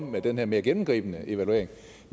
med den her mere gennemgribende evaluering